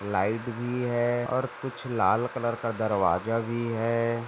Light भी है और कुछ लाल कलर का दरवाजा भी है।